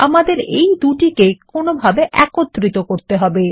আমাদের এই দুটিকে কোনভাবে একত্রিত করতে হবে